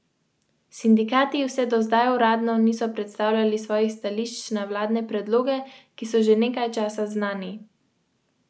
V petih vrečah pa je bila po ena torba, v vsaki torbi pa dvajset kilogramskih paketov z belim prahom.